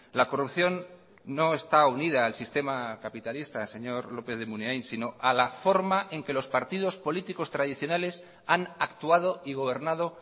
la corrupción no está unida al sistema capitalista señor lópez de munain sino a la forma en que los partidos políticos tradicionales han actuado y gobernado